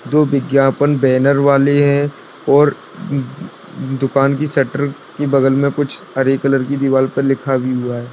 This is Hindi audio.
दो विज्ञापन बैनर वाले है और दुकान की शटर की बगल मे कुछ हरे कलर की दीवाल पर लिखा भी हुआ है।